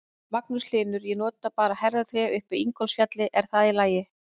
Magnús Hlynur: Ég nota bara herðatré upp í Ingólfsfjalli, er það í lagi?